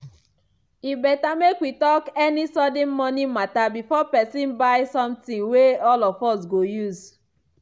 e better make we talk any sudden money matter before person buy something wey all of us go use.